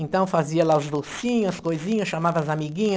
Então fazia lá os docinhos, as coisinhas, chamava as amiguinha.